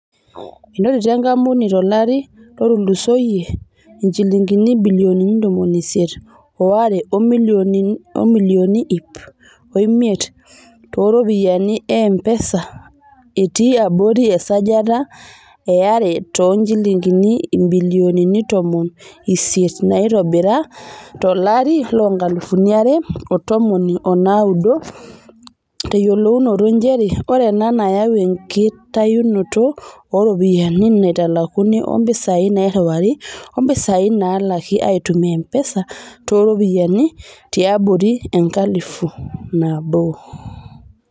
Enotito enkampuni tolari lotulusoyia injilingini ibilioni ntomoni isiet o are o milioni iip omiet tooropiyiani e mpesa, etii abori esajati e are too njilingini ibilioni ntomon isiet naitobira to larii loonkalifuni are o tomon onaudo, teyiolounoto njere oree ena neyau enkitayunoto ooropiyiani naaitalakuni oompisai nairiwari o mpisai laalaki aitumia mpesa too ropiyiani tiabori enkalifu nabo.